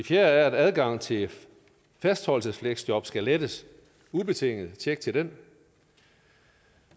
fjerde er at adgang til fastholdelsesfleksjob skal lettes ubetinget tjek til den